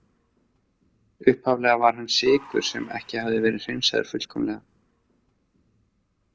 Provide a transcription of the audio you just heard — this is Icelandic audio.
Upphaflega var hann sykur sem ekki hafði verið hreinsaður fullkomlega.